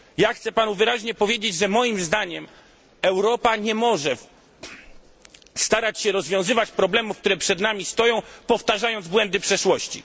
Chcę panu wyraźnie powiedzieć, że moim zdaniem Europa nie może starać się rozwiązywać problemów, które przed nami stoją, powtarzając błędy przeszłości.